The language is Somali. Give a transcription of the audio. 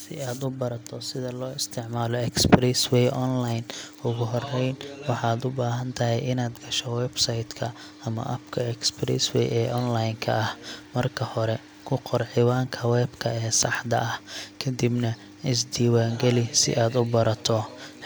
Si aad u barato sida loo isticmaalo Express Way online, ugu horreyn waxaad u baahan tahay inaad gasho website ka ama app-ka Express Way ee online ka ah. Marka hore, ku qor ciwaanka webka ee saxda ah, kadibna iska diiwaangeli si aad u abuurto